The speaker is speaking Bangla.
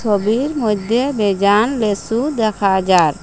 সবির মইধ্যে বেজান লেচু দেখা যার।